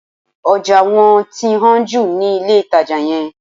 Ọjà wọ́n ti hán jù ní ilé-ìtàjà yẹn